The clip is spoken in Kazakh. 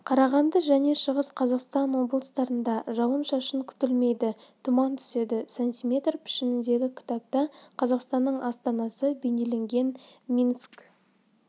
қарағанды және шығыс қазақстан облыстарында жауын-шашын күтілмейді тұман түседі сантиметр пішіндегі кітапта қазақстанның астанасы бейнеленген минск